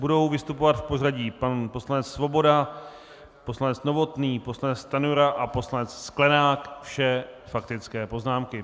Budou vystupovat v pořadí: pan poslanec Svoboda, poslanec Novotný, poslanec Stanjura a poslanec Sklenák - vše faktické poznámky.